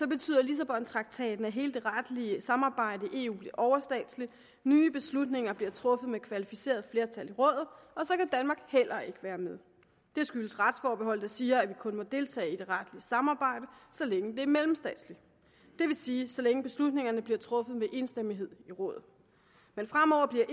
betyder lissabontraktaten at hele det retlige samarbejde i eu bliver overstatsligt nye beslutninger bliver truffet med kvalificeret flertal i rådet og så kan danmark heller ikke være med det skyldes retsforbeholdet der siger at vi kun må deltage i det retlige samarbejde så længe det er mellemstatsligt det vil sige så længe beslutningerne bliver truffet med enstemmighed i rådet men fremover bliver